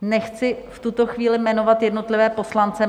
Nechci v tuto chvíli jmenovat jednotlivé poslance.